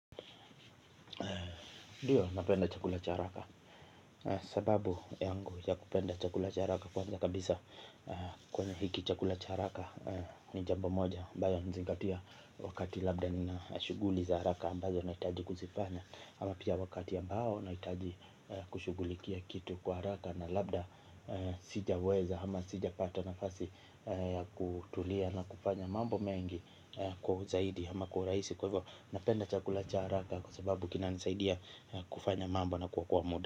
Ndiyo napenda chakula cha haraka. Sababu yangu ya kupenda chakula cha haraka kwanza kabisa kwenye hiki chakula cha haraka ni jambo moja ambayo nazingatia wakati labda nina shughuli za haraka ambazo nahitaji kuzifanya ama pia wakati ambao nahitaji kushughulikia kitu kwa haraka na labda sijaweza ama sijapata nafasi ya kutulia na kufanya mambo mengi kwa uzaidi ama kwa urahisi kwa hivyo napenda chakula cha haraka kwa sababu kinanisaidia kufanya mambo na kuokoa muda.